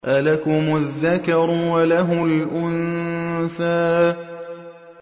أَلَكُمُ الذَّكَرُ وَلَهُ الْأُنثَىٰ